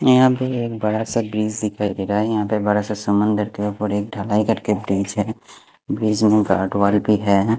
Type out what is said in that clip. यहां पे एक बड़ा सा ब्रिज दिखाइए दे रहा है यहां पे बड़ा सा समुद्र के ऊपर एक ढलाई करके ब्रिज है ब्रिज में गाडवॉल भी है।